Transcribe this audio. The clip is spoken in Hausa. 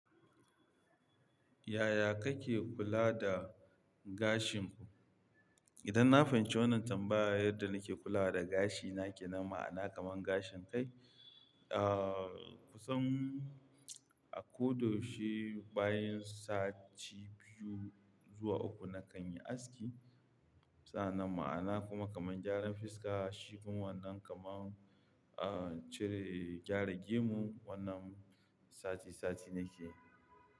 Yaya kake kula da gashin ku? Idan na fahimci wannan tambayar yadda nake kula da gashina ke nema'ana kaman gashin kai, ah kusan a ko da shi bayan sati biyu zuwa uku nakan yi aski. Sannan ma'ana kuma kaman gyaran fiska, shirin wannan kaman ah cire gyara gemu wannan sati sati nike.